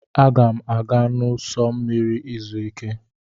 Aga m aga n'ụsọ osimiri izu ike.